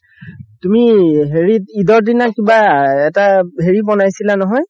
তুমি হেৰিত ইদৰ দিনা কিবা এটা হেৰি বনাইছিলা নহয়